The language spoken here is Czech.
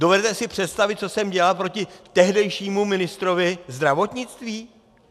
Dovedete si představit, co jsem dělal proti tehdejšímu ministrovi zdravotnictví?